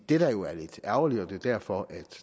det der jo er lidt ærgerligt og det er derfor